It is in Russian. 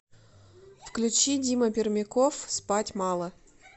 включи дима пермяков спать мало